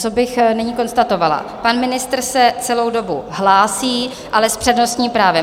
Co bych nyní konstatovala, pan ministr se celou dobu hlásí, ale s přednostním právem.